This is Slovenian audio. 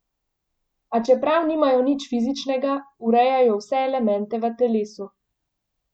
A čeprav nimajo nič fizičnega, urejajo vse elemente v telesu.